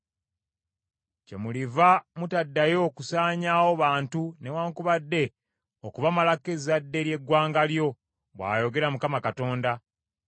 kyemuliva mutaddayo kusaanyaawo bantu newaakubadde okubamalako ezzadde ly’eggwanga lyo, bw’ayogera Mukama Katonda.